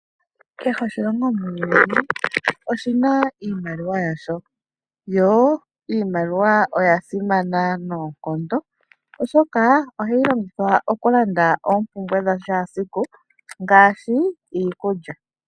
Kehe oshilongo muuyuni oshina iimaliwa yasho, yo iimaliwa oyasimana noonkondo oshoka ohayi longithwa okulanda oompumbwe dhashaasiku ngaashi iikulya.